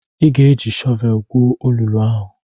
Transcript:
Ị ga-eji shọvelu gwuo olulu ahụ!